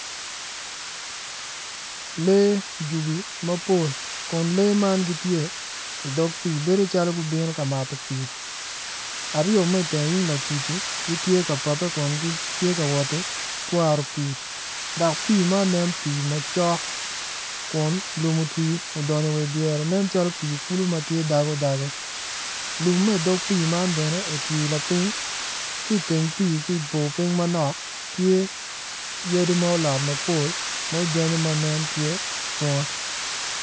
Lee jubi mapol kun lee magi gitye i dog pii bedo calo gubino ka mato pii. Aryo ma teng yung lacuci gitye ka pape kun gitye ka wot ki twaro pii dok pii man nen pii macok lum otwi odonyo wa i dyere nen tye dago dago lum ma i dog kulu man otwi lapiny ki i teng pii ki i bor piny manok tye yadi ma olot mapol ma ojanyu ma nen tye bunga.